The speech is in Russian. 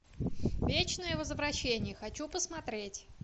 вечное возвращение хочу посмотреть